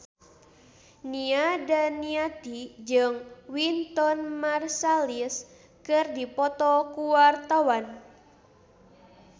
Nia Daniati jeung Wynton Marsalis keur dipoto ku wartawan